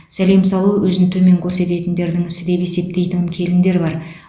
сәлем салу өзін төмен көрсететіндердің ісі деп есептейтін келіндер бар